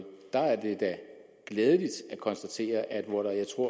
der er det da glædeligt at konstatere at hvor der i to